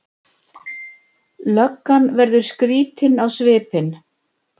Löggan verður skrýtin á svipinn.